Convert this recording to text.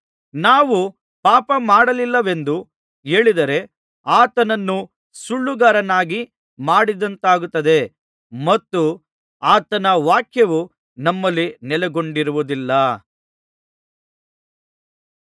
ನಾವು ಪಾಪ ಮಾಡಲಿಲ್ಲವೆಂದು ಹೇಳಿದರೆ ಆತನನ್ನು ಸುಳ್ಳುಗಾರನನ್ನಾಗಿ ಮಾಡಿದಂತಾಗುತ್ತದೆ ಮತ್ತು ಆತನ ವಾಕ್ಯವು ನಮ್ಮಲ್ಲಿ ನೆಲೆಗೊಂಡಿರುವುದಿಲ್ಲ